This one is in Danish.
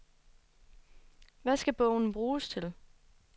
Hvad skal bogen bruges til?